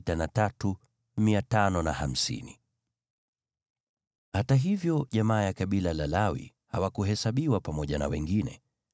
Hata hivyo, jamaa ya kabila la Lawi hawakuhesabiwa pamoja na wengine.